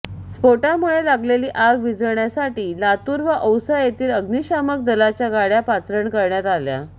स्पोटामुळे लागलेली आग विझण्यासाठी लातूर व औसा येथील आग्नीशामक दलाच्या गाड्या पाचारण करण्यात आल्या